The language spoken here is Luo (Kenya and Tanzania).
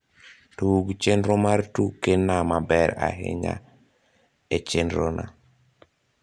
tug chenro mar tuke na maber ahinya e chenro na